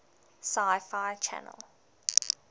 sci fi channel